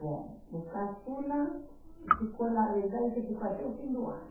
Bom, o caçula ficou, a verdade é que ficou até o fim do ano.